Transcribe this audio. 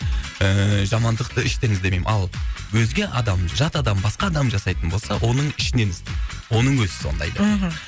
ііі жамандықты іштен іздемеймін ал өзге адам жат адам басқа адам жасайтын болса оның ішінен іздеймін оның өзі сондай деп мхм